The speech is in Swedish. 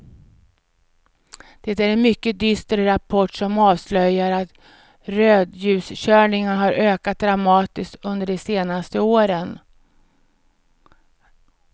Det är en mycket dyster rapport som avslöjar att rödljuskörningarna har ökat dramatiskt under de senaste åren.